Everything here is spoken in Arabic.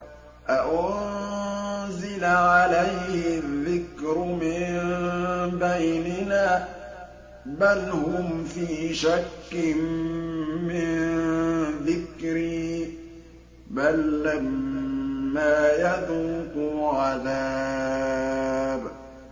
أَأُنزِلَ عَلَيْهِ الذِّكْرُ مِن بَيْنِنَا ۚ بَلْ هُمْ فِي شَكٍّ مِّن ذِكْرِي ۖ بَل لَّمَّا يَذُوقُوا عَذَابِ